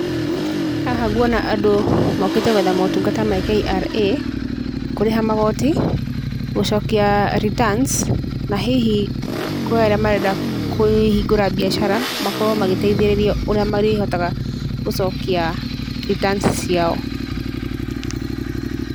Haha nguona andũ mokĩte gwetha motungata ma KRA, kũrĩha magoti, gũcokia returns ma hihi kwĩ arĩa marenda kũhingũra mbiacara, makorwo magĩteithĩrĩrio ũrĩa marĩhotaga gũcokia returns ciao.